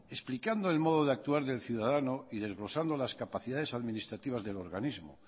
explicando el modo de actuar del ciudadano y desglosando las capacidades administrativas del organismo